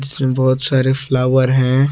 इसमें बहुत सारे फ्लावर हैं।